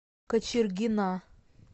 кочергина